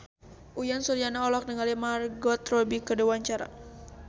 Uyan Suryana olohok ningali Margot Robbie keur diwawancara